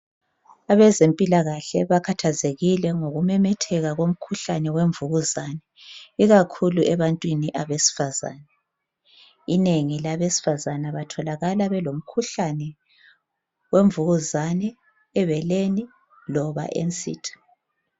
Abezempilakahle bakhathazekile ngokumemetheka komkhuhlane wemvukuzane ikakhulu ebantwini besifazane. Abantu besifazane batholakala belomkhuhlane wemvukuzane ebeleni loba ensitha.